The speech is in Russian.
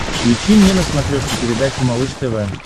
включи мне на смотрешке передачу малыш тв